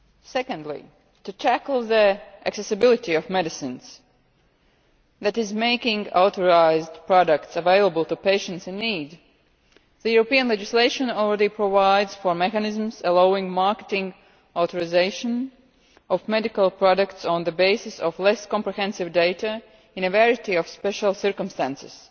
Secondly, to tackle the accessibility of medicines that is, making authorised products available to patients in need European legislation already provides for mechanisms allowing marketing authorisation of medicinal products on the basis of less comprehensive data in a variety of special circumstances